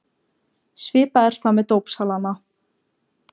Svipað er það með dópsalana.